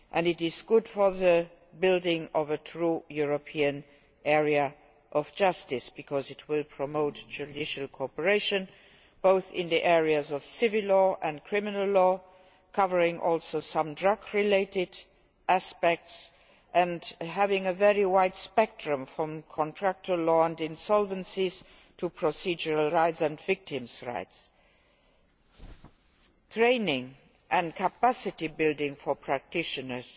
And it is good for the construction of a true European area of justice because it will promote judicial cooperation both in the areas of civil law and criminal law, covering also some drug related aspects and having a very wide spectrum ranging from contractual law and insolvencies to procedural rights and victims' rights. Training and capacity building for practitioners